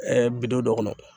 bidon dɔ kɔnɔ.